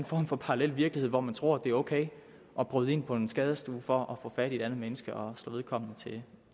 form for parallel virkelighed hvor man tror det er ok at bryde ind på en skadestue for at få fat i et andet menneske og slå vedkommende til